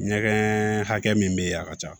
Ɲɛgɛn hakɛ min be yen a ka ca